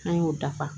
An y'o dafa